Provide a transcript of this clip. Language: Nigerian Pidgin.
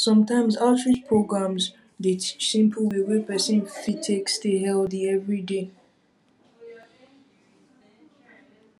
sometimes outreach programs outreach programs dey teach simple way wey person fit take stay healthy every day